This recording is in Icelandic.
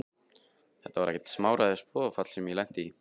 Þetta var ekkert smáræðis boðafall sem ég lenti í!